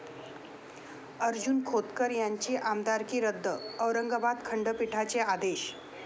अर्जुन खोतकर यांची आमदारकी रद्द! औरंगाबाद खंडपीठाचे आदेश